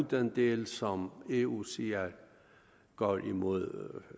den del ud som eu siger går imod